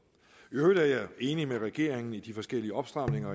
i øvrigt er jeg enig med regeringen i de forskellige opstramninger af